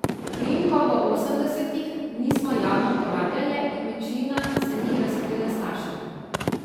Priimkov v osemdesetih nismo javno uporabljale in večina se ni razkrila staršem.